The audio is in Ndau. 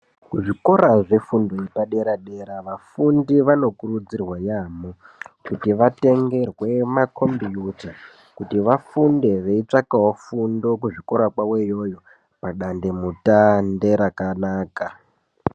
Kuzvikora zvefundo yepadera-dera vafundi vanokurudzirwa yaamho kuti vatengerwe makombiyuta. Kuti vafunde veitsvakavo fundo kuzvikora kwavo iyoyo padandemutande rakanaka.